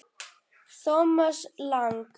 Thomas Lang